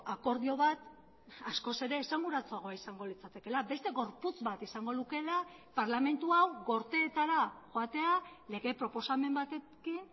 akordio bat askoz ere esanguratsuagoa izango litzatekeela beste gorputz bat izango lukeela parlamentu hau gorteetara joatea lege proposamen batekin